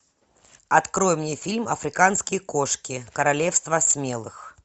открой мне фильм африканские кошки королевство смелых